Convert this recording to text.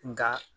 Nka